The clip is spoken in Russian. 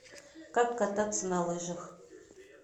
как кататься на лыжах